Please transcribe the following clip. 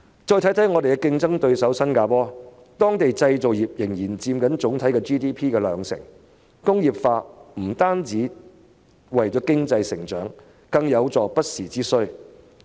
再看看本港的競爭對手新加坡，當地的製造業仍然佔 GDP 的兩成，工業化不單是為了經濟增長，更有助應付不時之需。